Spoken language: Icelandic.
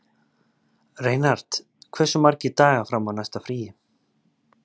Reinhart, hversu margir dagar fram að næsta fríi?